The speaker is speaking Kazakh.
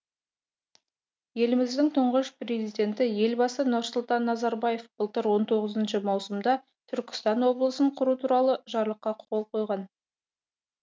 еліміздің тұңғыш президенті елбасы нұрсұлтан назарбаев былтыр он тоғызыншы маусымда түркістан облысын құру туралы жарлыққа қол қойған